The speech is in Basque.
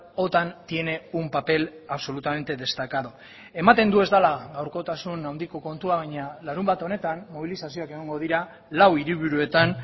otan tiene un papel absolutamente destacado ematen du ez dela gaurkotasun handiko kontua baina larunbat honetan mobilizazioak egongo dira lau hiriburuetan